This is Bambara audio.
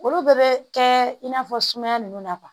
Olu bɛɛ bɛ kɛ in n'a fɔ sumaya ninnu na